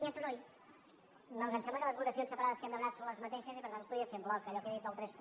no que em sembla que les votacions separades que hem demanat són les mateixes i per tant es podrien fer en bloc allò que he dit del trenta un